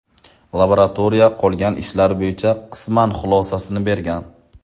Laboratoriya qolgan ishlar bo‘yicha qisman xulosasini bergan.